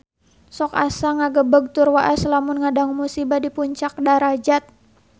Sok asa ngagebeg tur waas lamun ngadangu musibah di Puncak Darajat